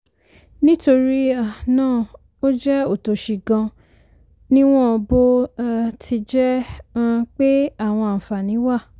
nítorí um náà ó jẹ òtòṣì gan-an níwọ̀n bó um ti jẹ́ um pé àwọn àǹfààní wà.